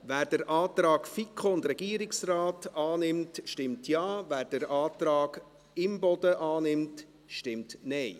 Wer den Antrag FiKo und Regierungsrat annimmt, stimmt Ja, wer den Antrag Imboden annimmt, stimmt Nein.